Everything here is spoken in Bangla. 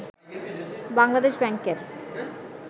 বাংলাদেশ ব্যাংকের